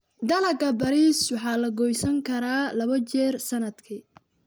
Dalagga bariis waxaa la goosan karaa labo jeer sanadkii.